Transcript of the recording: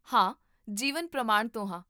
ਹਾਂ, ਜੀਵਨ ਪ੍ਰਮਾਣ ਤੋਂ ਹਾਂ